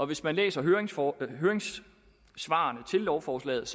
hvis man læser høringssvarene til lovforslaget